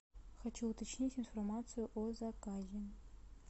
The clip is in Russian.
хочу уточнить информацию о заказе